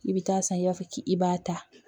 I bɛ taa san i b'a fɔ k'i b'a ta